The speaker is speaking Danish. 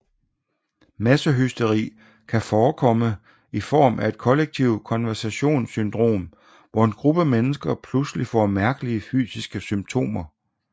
Massehysteri kan forekomme i form af et kollektivt konversionssyndrom hvor en gruppe mennesker pludselig får mærkelige fysiske symptomer